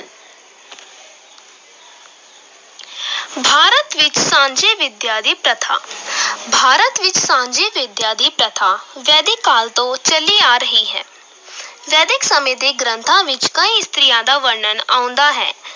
ਭਾਰਤ ਵਿੱਚ ਸਾਂਝੀ ਵਿਦਿਆ ਦੀ ਪ੍ਰਥਾ ਭਾਰਤ ਵਿੱਚ ਸਾਂਝੀ ਵਿੱਦਿਆ ਦੀ ਪ੍ਰਥਾ ਵੈਦਿਕ ਕਾਲ ਤੋਂ ਚੱਲੀ ਆ ਰਹੀ ਹੈ ਵੈਦਿਕ ਸਮੇਂ ਦੇ ਗ੍ਰੰਥਾਂ ਵਿੱਚ ਕਈ ਇਸਤਰੀਆਂ ਦਾ ਵਰਣਨ ਆਉਂਦਾ ਹੈ।